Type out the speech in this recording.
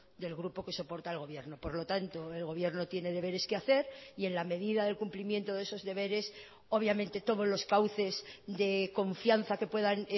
expreso del grupo que soporta al por lo tanto el gobierno tiene deberes que hacer y en la medida del cumplimiento de esos deberes obviamente todos los cauces de confianza que puedan